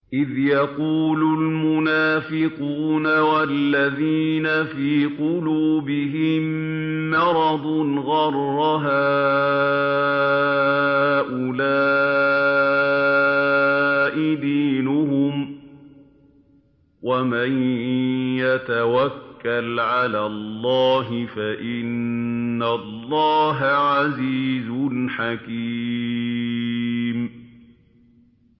إِذْ يَقُولُ الْمُنَافِقُونَ وَالَّذِينَ فِي قُلُوبِهِم مَّرَضٌ غَرَّ هَٰؤُلَاءِ دِينُهُمْ ۗ وَمَن يَتَوَكَّلْ عَلَى اللَّهِ فَإِنَّ اللَّهَ عَزِيزٌ حَكِيمٌ